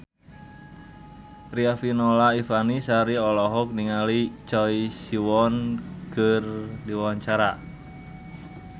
Riafinola Ifani Sari olohok ningali Choi Siwon keur diwawancara